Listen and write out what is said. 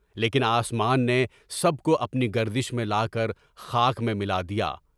لیکن آسمان نے سب کو اپنی گردش میں لاکر خاک میں ملا دیا۔